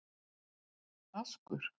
Askur